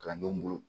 Kalandenw bolo